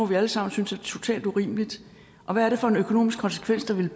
vi alle sammen synes er totalt urimeligt og hvad er det for en økonomisk konsekvens det ville